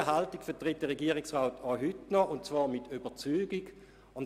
Auch heute noch vertritt der Regierungsrat diese Haltung mit Überzeugung.